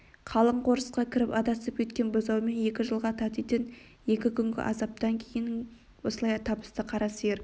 қалың қорысқа кіріп адасып кеткен бұзауымен екі жылға татитын екі күнгі азаптан кейін осылай табысты қара сиыр